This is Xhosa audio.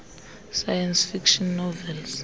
science fiction novels